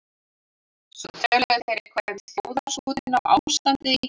Svo töluðu þeir eitthvað um þjóðarskútuna og ástandið í